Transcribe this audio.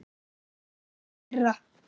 Ég er einn þeirra.